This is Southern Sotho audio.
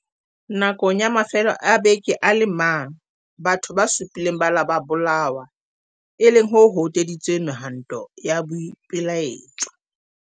Nakong ya mafelo a beke a le mang, batho ba supileng ba ile ba bolawa, e leng ho hoteditseng mehwanto ya boipelaetso.